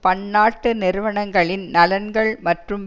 பன்னாட்டு நிறுவனங்களின் நலன்கள் மற்றும்